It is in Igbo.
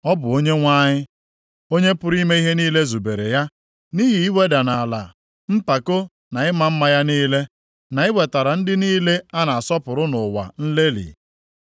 Ọ bụ Onyenwe anyị, Onye pụrụ ime ihe niile zubere ya, nʼihi iweda nʼala mpako na ịma mma ya niile, na iwetara ndị niile a na-asọpụrụ nʼụwa nlelị.